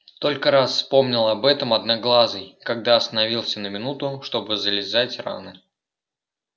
только раз вспомнил об этом одноглазый когда остановился на минуту чтобы зализать раны